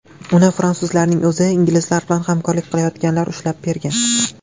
Uni fransuzlarning o‘zi, inglizlar bilan hamkorlik qilayotganlar ushlab bergan.